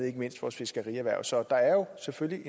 ikke mindst vores fiskerierhverv så der er jo selvfølgelig